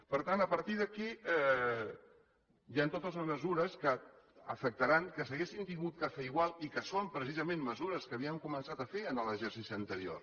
per tant a partir d’aquí hi han totes unes mesures que afectaran que s’haurien hagut de fer igual i que són precisament mesures que havien començat a fer en l’exercici anterior